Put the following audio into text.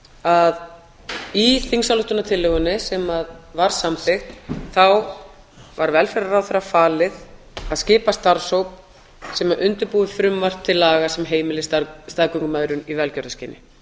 að í þingsályktunartillögunni sem var samþykkt þá var velferðarráðherra falið að skipa starfshóp sem undirbúi frumvarp til laga sem heimili staðgöngumæðrun í velgjörðarskyni